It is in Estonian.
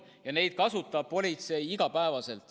Politsei kasutab neid iga päev.